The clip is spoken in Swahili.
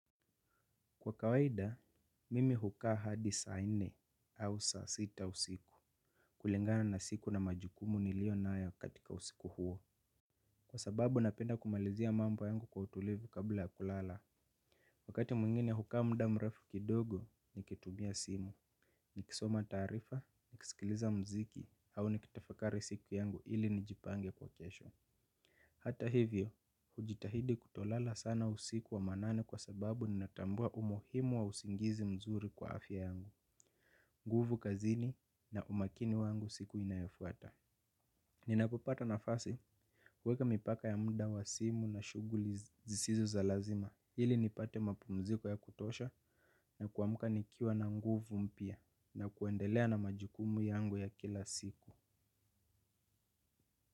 Kwa kawaida, mimi hukaa hadi saa nne au saa sita usiku kulingana na siku na majukumu niliyo nayo katika usiku huo. Kwa sababu napenda kumalizia mambo yangu kwa utulivu kabla ya kulala. Wakati mwingine hukaa muda mrefu kidogo nikitumia simu. Nikisoma taarifa, nikisikiliza muziki, au nikitafakari siku yangu ili nijipange kwa kesho. Hata hivyo, hujitahidi kutolala sana usiku wa manane kwa sababu ninatambua umuhimu wa usingizi mzuri kwa afya yangu, nguvu kazini na umakini wangu siku inayofuata. Ninapopata nqfasi, huweka mpaka ili nipate mapumziko ya kutosha na kuamka nikiwa na nguvu mpya na kuendelea na majukumu yangu ya kila siku.